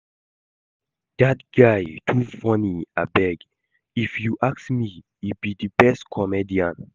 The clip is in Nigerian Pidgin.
Dat guy too funny abeg. If you ask me, he be the best comedian